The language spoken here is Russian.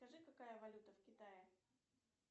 скажи какая валюта в китае